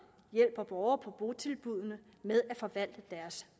hjælper borgere på botilbuddene med at forvalte deres